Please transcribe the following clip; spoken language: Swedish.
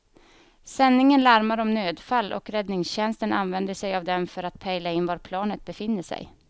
Sändningen larmar om nödfall och räddningstjänsten använder sig av den för att pejla in var planet befinner sig.